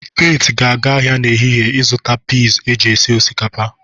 Faith ga-aga ahịa n'ehihie ịzụta pis eji esi osikapa.